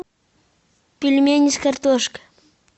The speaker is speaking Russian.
пельмени с картошкой